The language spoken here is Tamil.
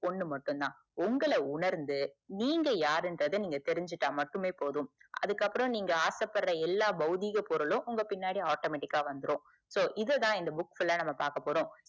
ஒன்னு மட்டும் தான் உங்கள உணர்ந்து நீங்க யாருன்றத நீங்க தெரிஞ்சுகிட்ட மட்டுமே போதும்அதுக்கு அப்புறம் நீங்க ஆச படுற எல்லா பௌதீக பொருளும் உங்க பின்னாடி autometic ஆஹ் வந்துரும் so இதுதான் இந்த book full ல பாக்கபோறோம்